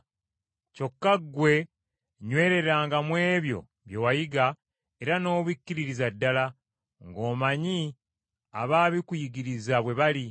Kyokka ggwe nywereranga mu ebyo bye wayiga era n’obikkiririza ddala, ng’omanyi abaabikuyigiriza bwe bali.